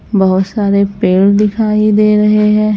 बहोत सारे पेड़ दिखाई दे रहे है।